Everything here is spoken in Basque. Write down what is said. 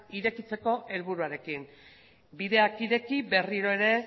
irekitzeko helburuarekin bideak ireki berriro ere